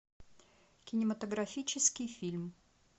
кинематографический фильм